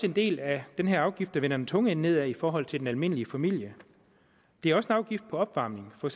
en del af den her afgift der vender den tunge ende nedad i forhold til den almindelige familie det er også en afgift på opvarmning for